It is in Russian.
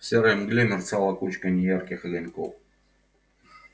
в серой мгле мерцала кучка неярких огоньков